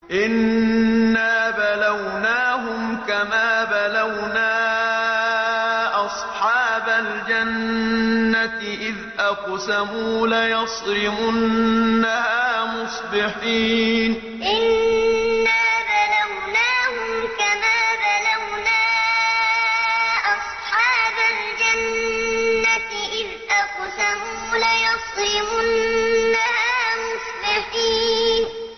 إِنَّا بَلَوْنَاهُمْ كَمَا بَلَوْنَا أَصْحَابَ الْجَنَّةِ إِذْ أَقْسَمُوا لَيَصْرِمُنَّهَا مُصْبِحِينَ إِنَّا بَلَوْنَاهُمْ كَمَا بَلَوْنَا أَصْحَابَ الْجَنَّةِ إِذْ أَقْسَمُوا لَيَصْرِمُنَّهَا مُصْبِحِينَ